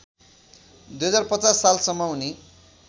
२०५० सालसम्म उनी